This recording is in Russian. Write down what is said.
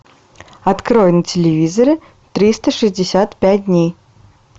открой на телевизоре триста шестьдесят пять дней